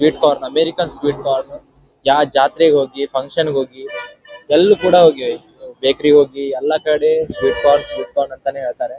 Sweet corn American sweet corn ಯಾವ ಜಾತ್ರೆಗೆ ಹೋಗಿ ಫನ್ ಕ್ಷನ್ ಗೆ ಹೋಗಿ ಬೇಕರಿಗೆ ಹೋಗಿ ಸ್ವೀಟ್ ಕಾರ್ನ್ ಅಂತಾನೆ ಹೇಳ್ತಾರೆ.